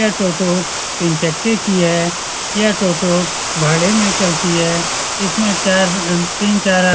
यह टोटो तीन चक्के की है यह टोटो भाड़े मे चलती है इसमे चार तीन चार --